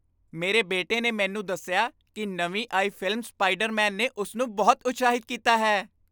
ਮੇਰੇ ਬੇਟੇ ਨੇ ਮੈਨੂੰ ਦੱਸਿਆ ਕਿ ਨਵੀਂ ਆਈ ਫ਼ਿਲਮ ਸਪਾਈਡਰਮੈਨ ਨੇ ਉਸ ਨੂੰ ਬਹੁਤ ਉਤਸ਼ਾਹਿਤ ਕੀਤਾ ਹੈ।